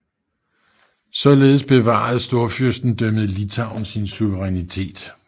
Således bevarede storfyrstendømmet Litauen sin suverænitet